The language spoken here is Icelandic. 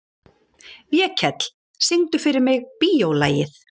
Vékell, syngdu fyrir mig „Bíólagið“.